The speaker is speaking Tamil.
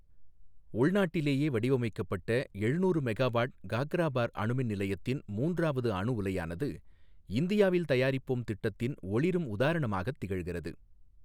உள்நாட்டிலேயே வடிவமைக்கப்பட்ட எழுநூறு மெகா வாட் காக்ராபர் அணு மின் நிலையத்தின் மூன்றாவது அணு உலையானது, இந்தியாவில் தயாரிப்போம் திட்டத்தின் ஔிரும் உதாரணமாகத் திகழ்கிறது.